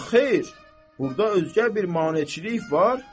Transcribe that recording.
Ya xeyr, burda özgə bir maneəçilik var?